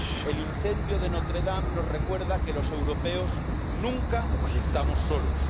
El incendio de Notre Dame nos recuerda que los europeos nunca estamos solos.